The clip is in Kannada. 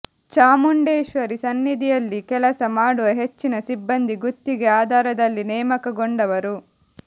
ಚಾಮುಂಡೇಶ್ವರಿ ಸನ್ನಿಧಿಯಲ್ಲಿ ಕೆಲಸ ಮಾಡುವ ಹೆಚ್ಚಿನ ಸಿಬ್ಬಂದಿ ಗುತ್ತಿಗೆ ಆಧಾರದಲ್ಲಿ ನೇಮಕಗೊಂಡವರು